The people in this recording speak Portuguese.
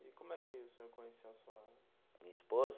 E como é que o senhor conheceu a sua. Minha esposa?